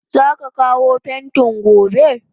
Zaka kawo pentin gobe?